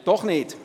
Doch nicht?